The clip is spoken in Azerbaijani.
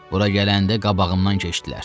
Bura gələndə qabağımdan keçdilər.